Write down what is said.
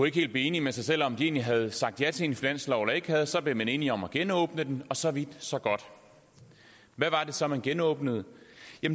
ikke helt blive enige med sig selv om om de egentlig havde sagt ja til en finanslov eller ikke havde så blev man enige om at genåbne den så vidt så godt hvad var det så man genåbnede